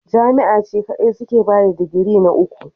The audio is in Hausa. Jami'a ne kadai suke bada digiri na uku.